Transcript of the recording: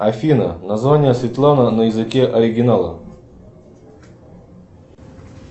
афина название светлана на языке оригинала